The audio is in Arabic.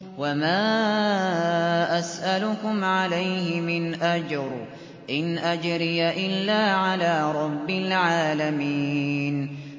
وَمَا أَسْأَلُكُمْ عَلَيْهِ مِنْ أَجْرٍ ۖ إِنْ أَجْرِيَ إِلَّا عَلَىٰ رَبِّ الْعَالَمِينَ